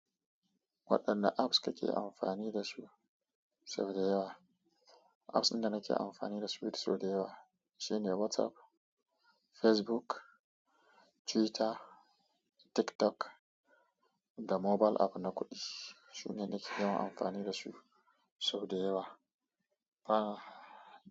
Waɗanne apps kake amfani da su sau dayawa. Apps ɗin da nake amfani da su sau da yawa shine WhatsApp, Facebook, Twitter, TikTok da mobile app na kuɗi. Su ne nake yawan amfani da su sau da yawa. A.